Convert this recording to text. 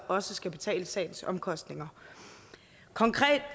også skal betale sagens omkostninger